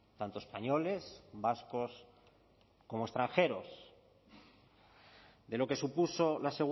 tanto españoles vascos como extranjeros de lo que supuso la